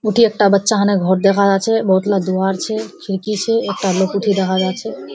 उठे एकटा बच्चा होने घोर देखा जाछे बोहोतला दोहर छे बोहतला दीवार छे खिड़की छे एकटा लोक उठे देखा जाछे।